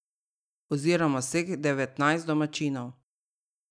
Oziroma vseh devetnajst domačinov.